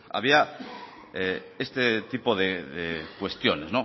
había este tipo de cuestiones